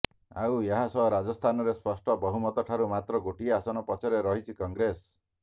ଆଉ ଏହାସହ ରାଜସ୍ଥାନରେ ସ୍ପଷ୍ଟ ବହୁମତ ଠାରୁ ମାତ୍ର ଗୋଟିଏ ଆସନ ପଛରେ ରହିଛି କଂଗ୍ରେସ